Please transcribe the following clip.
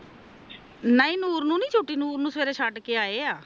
ਨਾ ਹੀ ਨੂਰ ਨੂੰ ਨੀ ਛੁਟੀ ਨੂਰ ਨੂੰ ਸਵੇਰੇ ਛੱਡ ਕੇ ਆਏ ਆ